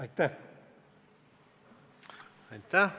Aitäh!